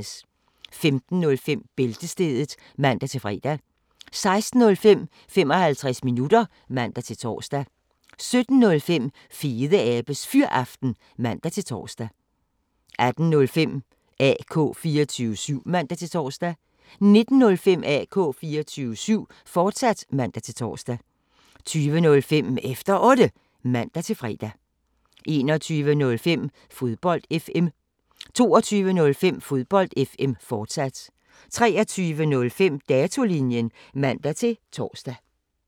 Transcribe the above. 15:05: Bæltestedet (man-fre) 16:05: 55 minutter (man-tor) 17:05: Fedeabes Fyraften (man-tor) 18:05: AK 24syv (man-tor) 19:05: AK 24syv, fortsat (man-tor) 20:05: Efter Otte (man-fre) 21:05: Fodbold FM 22:05: Fodbold FM, fortsat 23:05: Datolinjen (man-tor)